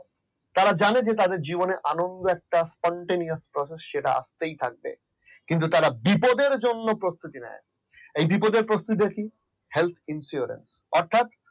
তারা জানেন যে তাদের জীবনে আনন্দ একটা continues process যেটা আসতেই থাকবে। তারা বিপদের জন্য প্রস্তুতি নেয় না এই বিপদের প্রস্তুতি টাকে health insurance অর্থাৎ